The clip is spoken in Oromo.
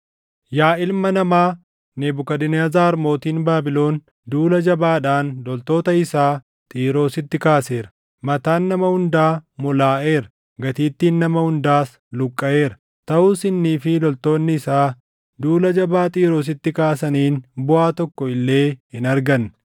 “Yaa ilma namaa, Nebukadnezar mootiin Baabilon duula jabaadhaan loltoota isaa Xiiroositti kaaseera; mataan nama hundaa molaaʼeera; gatiittiin nama hundaas luqqaʼeera. Taʼus innii fi loltoonni isaa duula jabaa Xiiroositti kaasaniin buʼaa tokko illee hin arganne.